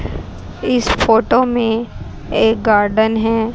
इस फोटो में एक गार्डन है।